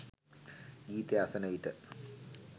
ගීතය අසන විට